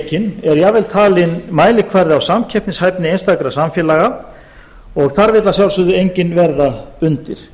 hreyfanleikinn er jafnvel talinn mælikvarðinn á samkeppnishæfni einstakra samfélaga og þar vill að sjálfsögðu enginn verða undir